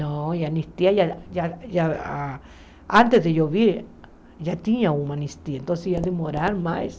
Não, e a anistia, ah ah ah antes de eu vir, já tinha uma anistia, então ia demorar mais.